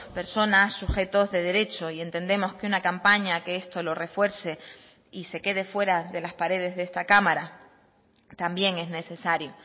personas sujetos de derecho y entendemos que una campaña que esto lo refuerce y se quede fuera de las paredes de esta cámara también es necesario